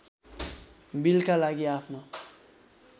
बिलका लागि आफ्नो